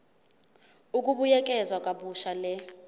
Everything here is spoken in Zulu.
ukubuyekeza kabusha le